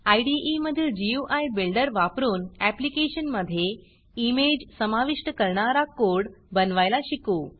इदे मधील GUI builder वापरून ऍप्लिकेशनमधे इमेज समाविष्ट करणारा कोड बनवायला शिकू